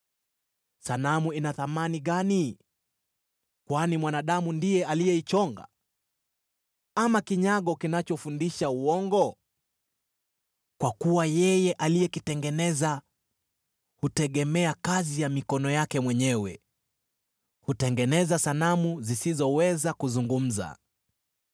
“Sanamu ina thamani gani, kwani mwanadamu ndiye alichonga? Ama kinyago kinachofundisha uongo? Kwa kuwa yeye aliyekitengeneza hutegemea kazi ya mikono yake mwenyewe; hutengeneza sanamu zisizoweza kuzungumza.